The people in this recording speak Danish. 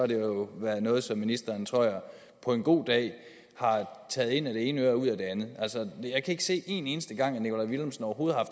det jo været noget som ministeren tror jeg på en god dag har taget ind af det ene øre og ud af det andet jeg kan ikke se en eneste gang overhovedet har